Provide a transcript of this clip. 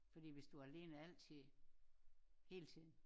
Fordi hvis du alene altid hele tiden